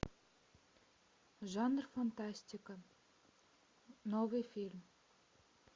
жанр фантастика новый фильм